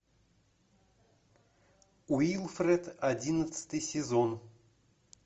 уилфред одиннадцатый сезон